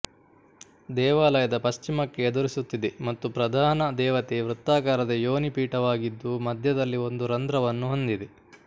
ದೇವಾಲಯದ ಪಶ್ಚಿಮಕ್ಕೆ ಎದುರಿಸುತ್ತಿದೆ ಮತ್ತು ಪ್ರಧಾನ ದೇವತೆ ವೃತ್ತಾಕಾರದ ಯೊನಿ ಪೀಠವಾಗಿದ್ದು ಮಧ್ಯದಲ್ಲಿ ಒಂದು ರಂಧ್ರವನ್ನು ಹೊಂದಿದೆ